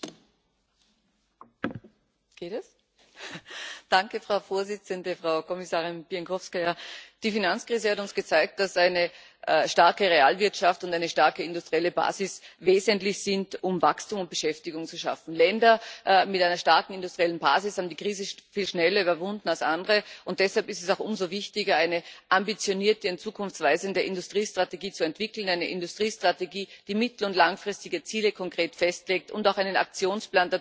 Frau Präsidentin, Frau Kommissarin Bieńkowska! Die Finanzkrise hat uns gezeigt, dass eine starke Realwirtschaft und eine starke industrielle Basis wesentlich sind, um Wachstum und Beschäftigung zu schaffen. Länder mit einer starken industriellen Basis haben die Krise viel schneller überwunden als andere, und deshalb ist es auch umso wichtiger, eine ambitionierte und zukunftsweisende Industriestrategie zu entwickeln, eine Industriestrategie, die mittel und langfristige Ziele konkret festlegt und auch einen Aktionsplan